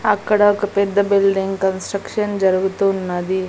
అక్కడ ఒక పెద్ద బిల్డింగ్ కన్స్ట్రక్షన్ జరుగుతున్నది.